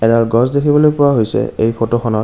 এডাল গেছ দেখিবলৈ পোৱা হৈছে এই ফটো খনত।